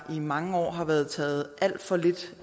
mange år har været taget alt for lidt